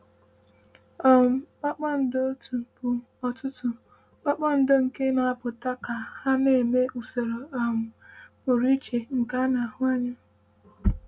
um “Kpakpando otu bụ ọtụtụ kpakpando nke na-apụta ka ha na-eme usoro um pụrụ iche nke a na-ahụ anya.” um